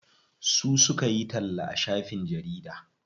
Su suka yi talla a shafin jarida.